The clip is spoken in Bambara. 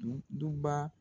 N dubaa